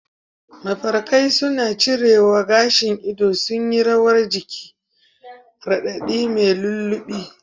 Mafarkai suna cirewa, gashin ido sun yi rawar jiki, radadi mai lullaby